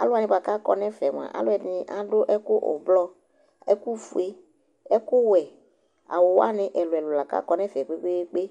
alʋ wanɩ kʋ akɔ nʋ ɛfɛ yɛ mʋa, alʋɛdɩnɩ adʋ ɛkʋ ʋblɔ, ɛkʋfue, ɛkʋwɛ, awʋ wanɩ ɛlʋ-ɛlʋ la kʋ akɔ nʋ ɛfɛ kpe-kpe-kpe